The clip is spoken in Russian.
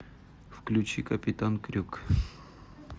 включи капитан крюк